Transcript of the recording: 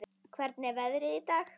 Hvernig er veðrið í dag?